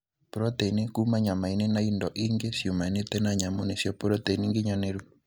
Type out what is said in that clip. Proteini kuma nyamainĩ na indo iingĩ ciumanĩte na nyamũ nĩcio proteini ginyanĩru.